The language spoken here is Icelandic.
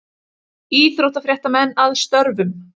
Íþróttafréttamenn að störfum.